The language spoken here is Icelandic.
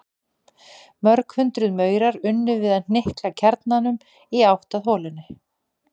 Mörg hundruð maurar unnu við að hnika kjarnanum í átt að holunni.